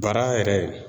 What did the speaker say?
Bara yɛrɛ